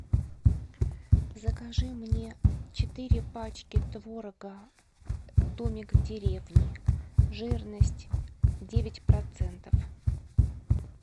закажи мне четыре пачки творога домик в деревне жирность девять процентов